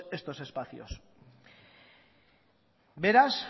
estos espacios beraz